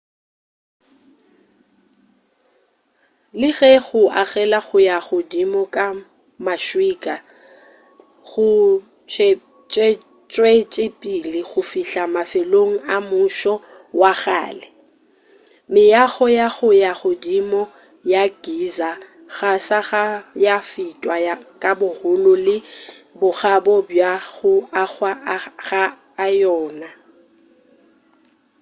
le ge go agela go ya godimo ka maswika go tšwetšepele go fihla mafelelong a mmušo wa kgale meago ya go ya godimo ya giza ga sa ka ya fetwa ka bogolo le bokgabo bja go agwa ga yona